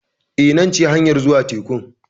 Eh, nan ce hanyar zuwa tekun.